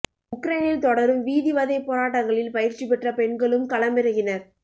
உக்ரைனில் தொடரும் வீதி வதைப் போராட்டங்களில் பயிற்சி பெற்ற பெண்களும் களமிறங்கினர்